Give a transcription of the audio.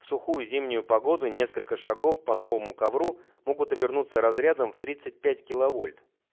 всухую зимнюю погоду несколько шагов по новому ковру могут обернуться разрядом в тридцать пять киловольт